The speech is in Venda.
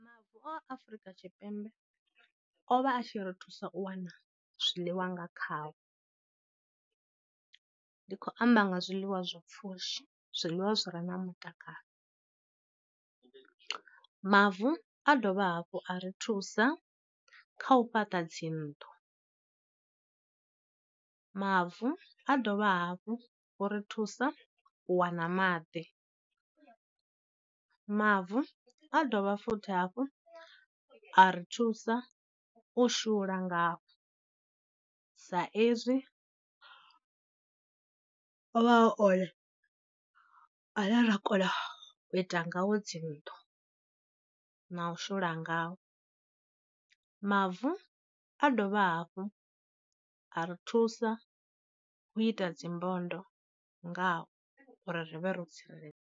Mavu a Afurika Tshipembe o vha a tshi ri thusa u wana zwiḽiwa nga khavho, ndi khou amba nga zwiḽiwa zwa pfhushi, zwiḽiwa zwi re na mutakalo, mavu a dovha hafhu a ri thusa kha u fhaṱa dzi nnḓu, mavu a dovha hafhu uri thusa wana maḓi. Mavu a dovha futhi hafhu a ri thusa u shula ngao sa ezwi o vha a one a ne ra kona u ita ngao dzi nnḓu na u shula ngao, mavu a dovha hafhu a ri thusa u ita dzimbondo ngao uri ri vhe ro tsireledzea.